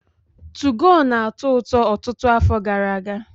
2GO na-atọ ụtọ ọtụtụ afọ gara-aga.